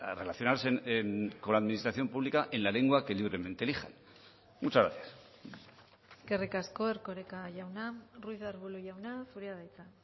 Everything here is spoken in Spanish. relacionarse con la administración pública en la lengua que libremente elijan muchas gracias eskerrik asko erkoreka jauna ruiz de arbulo jauna zurea da hitza